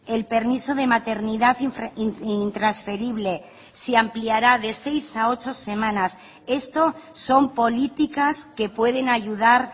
el permiso de maternidad intransferible se ampliará de seis a ocho semanas esto son políticas que pueden ayudar